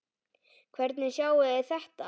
Hvernig sjáið þið þetta?